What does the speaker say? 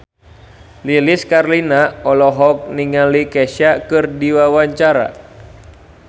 Lilis Karlina olohok ningali Kesha keur diwawancara